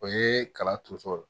O ye kala tonso ye